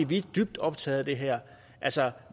vi er dybt optaget af det her altså